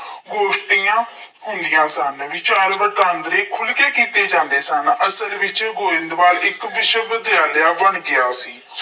ਗੋਸ਼ਟੀਆਂ ਹੁੰਦੀਆਂ ਸਨ, ਵਿਚਾਰ ਵਟਾਂਦਰੇ ਖੁੱਲ੍ਹ ਕੇ ਕੀਤੇ ਜਾਂਦੇ ਸਨ। ਅਸਲ ਵਿੱਚ ਗੋਇੰਦਵਾਲ ਇੱਕ ਵਿਸ਼ਵ ਵਿਦਿਆਲਿਆ ਬਣ ਗਿਆ ਸੀ।